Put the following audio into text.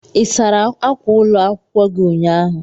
Ị sara ákwà ụlọ akwụkwọ gi ụnyahụ?